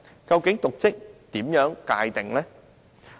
究竟應如何界定"瀆職"？